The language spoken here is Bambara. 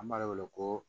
An b'a de wele ko